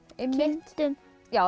einmitt kindum